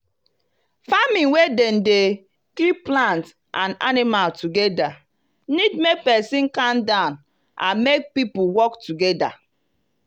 farming wey dem dey keep plant and animal together need make person calm down and make people work together.